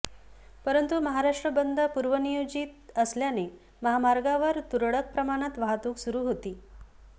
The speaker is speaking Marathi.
परंतु महाराष्ट्र बंद पूर्वनियोजित असल्याने महामार्गावर तुरळक प्रमाणात वाहतुक सुरू होती